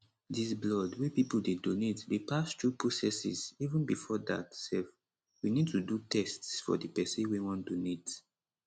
dis blood wey pipo dey donate dey pass thru processes even bifor dat sef we need to do tests for di pesin wey wan donate